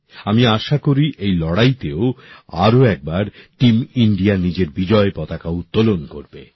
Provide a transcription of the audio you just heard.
আমি আশা করি এই লড়াইতেও আরও একবার টিম ইন্ডিয়া নিজের বিজয় পতাকা উত্তোলন করবে